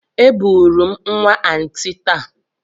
Eburu m nwa Aunty taa.